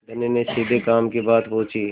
धनी ने सीधे काम की बात पूछी